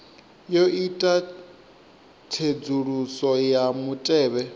yo ita tsedzuluso ya mutevhe